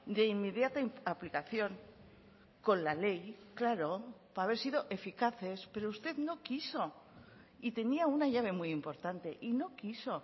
de inmediata aplicación con la ley claro para haber sido eficaces pero usted no quiso y tenía una llave muy importante y no quiso